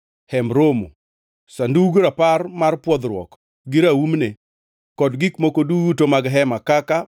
Hemb Romo, Sandug Rapar mar pwodhruok gi raumne, kod gik moko duto mag hema kaka: